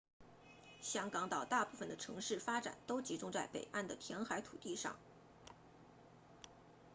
香港岛大部分的城市发展都集中在北岸的填海土地上